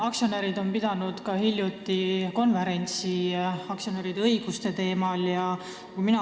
Aktsionärid pidasid hiljuti aktsionäride õiguste teemal ka konverentsi.